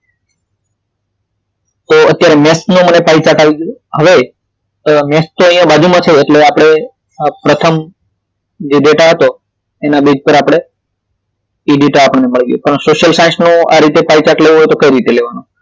તો અહી maths નો મને પાઇ chart મને આવી ગયો હવે maths તો અહી બાજુમાં છે એટલે આપડે પ્રથમ જે ડેટા હતો એના બેસ પર આપડે એ ડેટા આપણને મળી ગયો પરંતુ social science નો આ રીતે પાઇ chart લેવો હોય તો કઈ રીતે લેવાનું